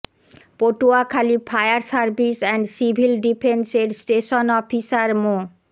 Patuakhali fire service and civil defence এর station officer মো